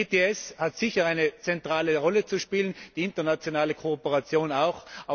Das ETS hat sicher eine zentrale Rolle zu spielen, die internationale Kooperation auch.